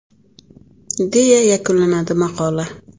!”, deya yakunlanadi maqola.